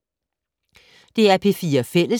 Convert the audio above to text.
DR P4 Fælles